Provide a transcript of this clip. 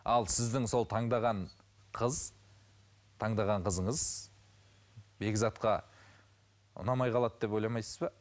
ал сіздің сол таңдаған қыз таңдаған қызыңыз бекзатқа ұнамай қалады деп ойламайсыз ба